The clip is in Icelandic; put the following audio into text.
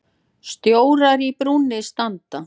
Stjórar í brúnni standa.